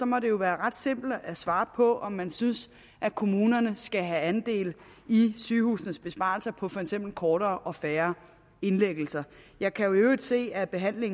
må det jo være ret simpelt at svare på om man synes kommunerne skal have andel i sygehusenes besparelser på for eksempel kortere og færre indlæggelser jeg kan i øvrigt se at der her ved